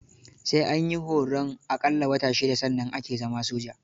Sai an yi horon a ƙalla wata shida sannan ake zama soja.